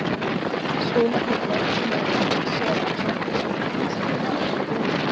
Svilarnir bræddu með sér að klambra saman húskofa inni í Vogum.